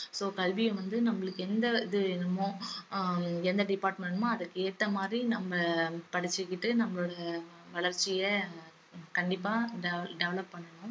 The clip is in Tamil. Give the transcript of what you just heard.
so கல்விய வந்து நம்மளுக்கு எந்த இது வேணுமோ ஆஹ் எந்த department வேணுமோ அதுக்கு ஏத்த மாதிரி நம்ம படிச்சுக்கிட்டு நம்மளோட வளர்ச்சிய கண்டிப்பா devel~ develop பண்ணனும்